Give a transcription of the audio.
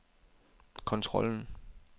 kontrollen